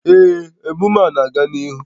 Ee, emume a na-aga n'ihu